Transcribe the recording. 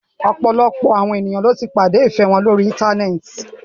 Ọ̀pọ̀lọpọ̀ àwọn ènìyàn ní o tí pàdé ìfẹ wọn lórí íntanẹ́ẹ̀ti.